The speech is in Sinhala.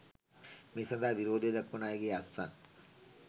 මේ සඳහා විරෝධය දක්‌වන අයගේ අත්සන්